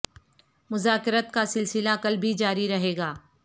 مذاکرات کا سلسلہ کل بھی جاری رہے گا